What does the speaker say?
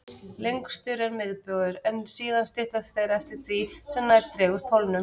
Lengstur er miðbaugur, en síðan styttast þeir eftir því sem nær dregur pólunum.